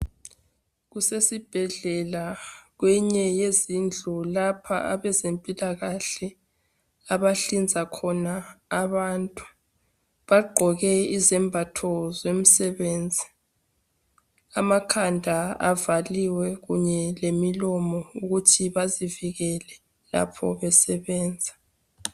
Kusesibhedlela kweyinye yezindlu lapha abezempilakhle abahlinza khona abantu. Bagqoke izembatho zomsebenzi. Amakhanda avaliwe kunye lemilomo ukuthi bazivikele lapho besebenza